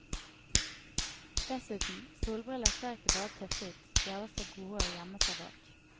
Dessuten, solbriller ser ikke bare tøffe ut, de er også gode å gjemme seg bak.